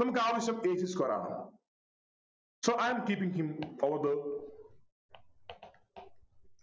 നമുക്കാവശ്യം a c square ആണ് So I am keeping him over there